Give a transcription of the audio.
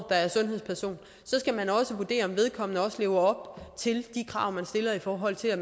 der er sundhedsperson skal vurdere om vedkommende lever op til de krav man stiller i forhold til at